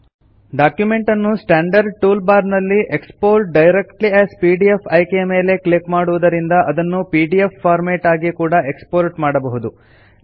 document ಅನ್ನು standard toolbar ನಲ್ಲಿ export directly as PDF ಆಯ್ಕೆ ಯ ಮೇಲೆ ಕ್ಲಿಕ್ ಮಾಡುವುದರಿಂದ ಅದನ್ನು ಪಿಡಿಎಫ್ ಫಾರ್ಮ್ಯಾಟ್ ಆಗಿ ಕೂಡ ಎಕ್ಸ್ ಪೋರ್ಟ್ ಮಾಡಬಹುದು